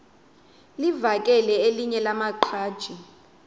livakele elinye lamaqhaji